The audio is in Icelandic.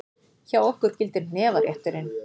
Hjá okkur gildir hnefarétturinn!